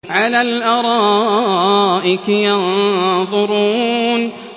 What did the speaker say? عَلَى الْأَرَائِكِ يَنظُرُونَ